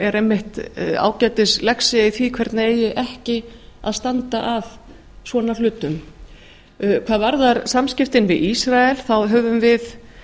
er einmitt ágætis lexía í því hvernig eigi ekki að standa að svona hlutum hvað varðar samskiptin við ísrael þá höfum við